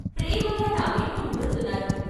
ప్రేమగా నా వీపు నిమురుతున్నారు.